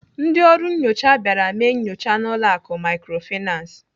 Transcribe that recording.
Ndị ọrụ nnyocha bịara mee nyocha n'ụlọ akụ Microfinance.